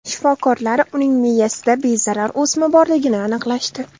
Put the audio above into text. Shifokorlar uning miyasida bezarar o‘sma borligini aniqlashdi.